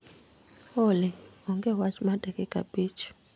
Olly, onge wach mar dakika abich